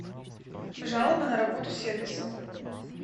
жалоба на работу сервиса